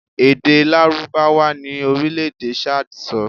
Èdè Lárúbáwá ni orílẹ̀ èdè Chad ń sọ